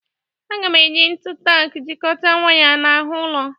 A ga m eji ntu tak jikọta waya n'ahụ ụlọ.